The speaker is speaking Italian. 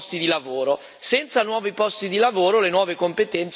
Senza nuovi posti di lavoro le nuove competenze non basteranno.